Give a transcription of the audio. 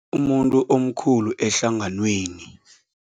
Umuntu omkhulu ehlanganweni.